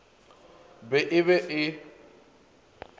be e be e le